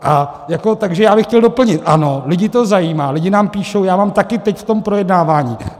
Takže já bych chtěl doplnit, ano, lidi to zajímá, lidi nám píšou, já mám taky teď, v tom projednávání.